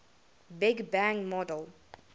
big bang model